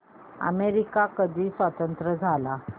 America कधी स्वतंत्र झाला